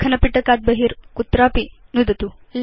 लेखन पिटकात् बहि कुत्रापि नुदतु